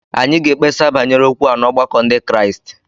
Anyị ga-ekpesa banyere okwu a n'ọgbakọ Ndị Kraịst